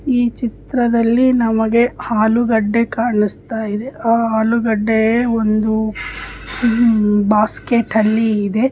ಈ ಚಿತ್ರದಲ್ಲಿ ನಮಗೆ ಆಲೂಗಡ್ಡೆ ಕಾಣಿಸ್ತಾ ಇದೆ ಆಹ್ಹ್ ಆಲೂಗಡ್ಡೆ ಒಂದು ಬಾಸ್ಕೆಟ್ ಅಲ್ಲಿ ಇದೆ.